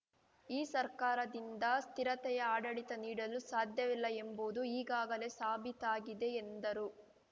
ಈ ಸರ್ಕಾರದಿಂದ ಸ್ಥಿರತೆಯ ಆಡಳಿತ ನೀಡಲು ಸಾಧ್ಯವಿಲ್ಲ ಎಂಬುದು ಈಗಾಗಲೇ ಸಾಬೀತಾಗಿದೆ ಎಂದರು